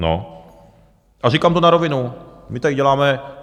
No a říkám to na rovinu - my tady děláme...